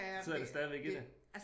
Sidder det stadigvæk i det?